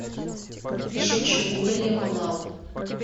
шучу уильяма лау